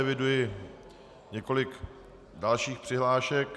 Eviduji několik dalších přihlášek.